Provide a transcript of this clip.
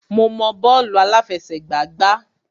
Mo mọ bọ́ọ̀lù àláfẹsẹ̀gbá gbá.